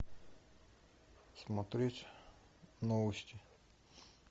смотреть новости